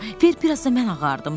Ver biraz da mən ağardım."